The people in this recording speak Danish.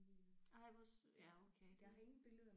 Ej hvor sødt ja okay det